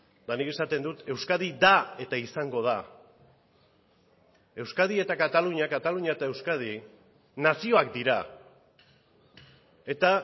eta nik esaten dut euskadi da eta izango da euskadi eta katalunia katalunia eta euskadi nazioak dira eta